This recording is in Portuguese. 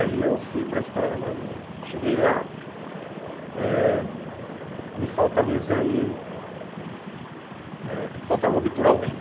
Aí eu fui para a Escola da Marinha, cheguei lá, eh me faltava um exame, eh faltava obturar o dente.